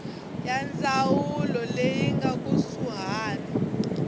ya ndzawulo leyi nga kusuhani